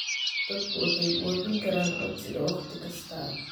Dadku waxay buuxin karaan codsiga wakhti kasta.